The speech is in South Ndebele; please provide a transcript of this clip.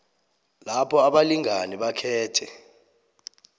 lapha abalingani bakhethe